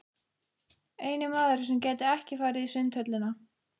Eini maðurinn sem gæti ekki farið í Sundhöllina.